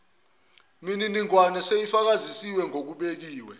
miningwane seyifakazisiwe ngokubekiwe